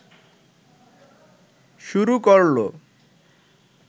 শুরু করল